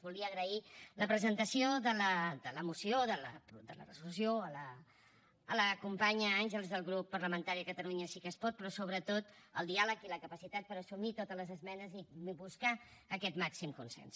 volia agrair la presentació de la moció de la resolució a la companya àngels del grup parlamentari de catalunya sí que es pot però sobretot el diàleg i la capacitat per assumir totes les esmenes i buscar aquest màxim consens